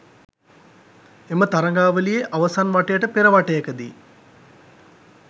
එම තරගාවලියේ අවසන් වටයට පෙර වටයකදී